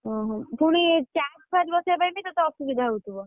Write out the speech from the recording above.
ଓହୋ ପୁଣି charge ଫାର୍ଜ ବସେଇଆ ପାଇଁ ବି ତତେ ଅସୁବିଧା ହଉଥିବ?